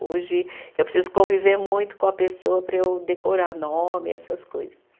Hoje eu preciso conviver muito com a pessoa para eu decorar nome, essas coisas.